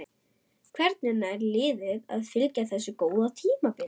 Hvernig nær liðið að fylgja eftir þessu góða tímabili?